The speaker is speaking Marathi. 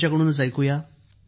या त्यांच्याकडून ऐकू या